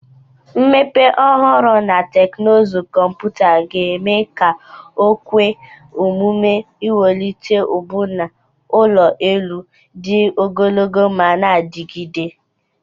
Mmepe ọhụrụ na teknụzụ kọmpụta ga-eme ka o kwe omume iwulite ọbụna ụlọ elu dị ogologo ma na-adigide